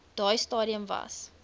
daai stadium was